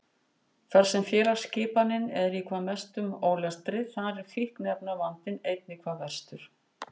Þar sem félagsskipanin er í hvað mestum ólestri þar er fíkniefnavandinn einnig hvað verstur.